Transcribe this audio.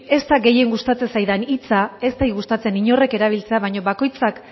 ez da gehien gustatzen zaidan hitza ez zait gustatzen inork erabiltzea baina bakoitzak